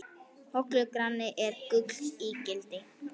Hollur granni er gulls ígildi.